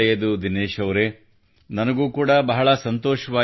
ದಿನೇಶ್ ಅವರೆ ನನಗೂ ಕೂಡಾ ಬಹಳ ಸಂತೋಷವಾಯಿತು